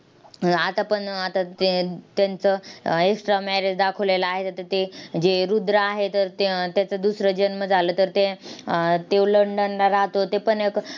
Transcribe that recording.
आतापण आता ते त्यांचं extra marriage दाखवलेलं आहे, त्याचे ते जे रुद्र आहे, त्या त्याचा दुसरा जन्म झाला. तर ते अह ते लंडनला राहतो. तेपण एक